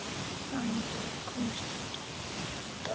Þurfti hann endilega að komast upp á topp?